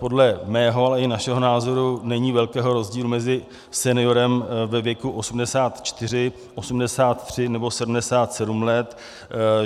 Podle mého, ale i našeho názoru není velkého rozdílu mezi seniorem ve věku 84, 83 nebo 77 let.